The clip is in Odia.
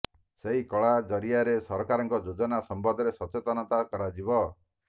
ସେଇ କଳା ଜରିଆରେ ସରକାରଙ୍କ ଯୋଜନା ସମ୍ବନ୍ଧରେ ସଚେତନତା କରାଯିବ